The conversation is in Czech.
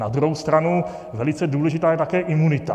Na druhou stranu velice důležitá je také imunita.